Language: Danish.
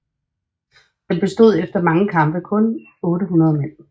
Den bestod efter mange kampe kun af 800 mand